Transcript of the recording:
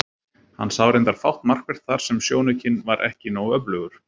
Hann sá reyndar fátt markvert þar sem sjónaukinn var ekki nógu öflugur.